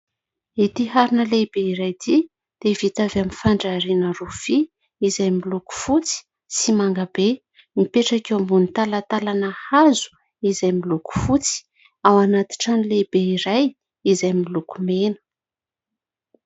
ity harina lehibe iray ity dia vita avy amin'ny fandrariana rofia izay miloko fotsy sy mangabe mipetraka eo ambon'ny talatalana hazo izay miloko fotsy ao anati trano lehibe iray izay miloko mena